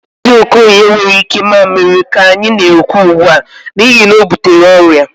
Mazi Okoye enweghị ike mamịrị ka anyị na-ekwu ugbu a, n'ihi na o butere ọrịa